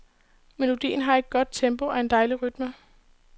Melodien har et godt tempo og en dejlig rytme.